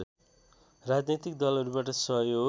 राजनैतिक दलहरूबाट सहयोग